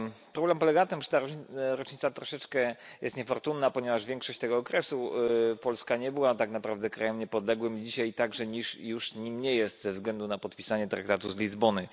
Problem polega na tym, że ta rocznica troszeczkę jest niefortunna, ponieważ większość tego okresu Polska nie była tak naprawdę krajem niepodległym i dzisiaj także już nim nie jest ze względu na podpisanie traktatu z Lizbony.